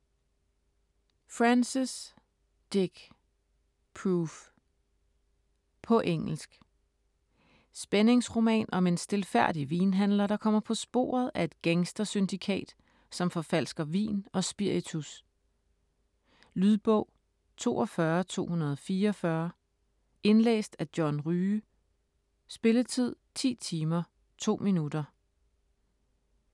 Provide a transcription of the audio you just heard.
Francis, Dick: Proof På engelsk. Spændingsroman om en stilfærdig vinhandler, der kommer på sporet af et gangstersyndikat, som forfalsker vin og spiritus. Lydbog 42244 Indlæst af John Rye Spilletid: 10 timer, 2 minutter.